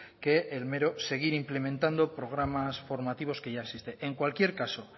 que el mero seguir implementando programas formativos que ya existe en cualquier caso